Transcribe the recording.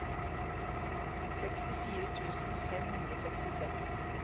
sekstifire tusen fem hundre og sekstiseks